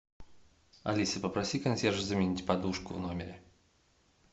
алиса попроси консьержа заменить подушку в номере